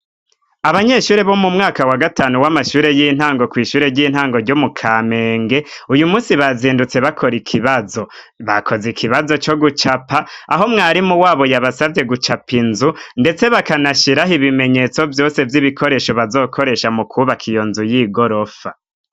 Abanyeshure bo mu mwaka wa gatanu w'amashure y'intango ku ishure ry'intango ryo mu kamenge uyu munsi bazindutse bakora ikibazo bakoze ikibazo cyo gucapa aho mwarimu wabo yabasabye gucapa inzu ndetse bakanashyiraho ibimenyetso byose by'ibikoresho bazokoresha mu kubaka iyonzu y'igorofa.